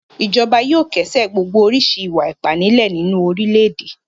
Ìjọba yóò kẹ́sẹ̀ gbogbo oríṣi ìwà-ipá nílẹ̀ nínú orílẹ̀-èdè.